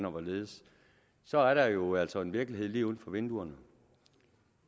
og hvorledes så er der jo altså en virkelighed lige uden for vinduerne